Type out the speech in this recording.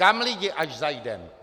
Kam, lidi, až zajdeme?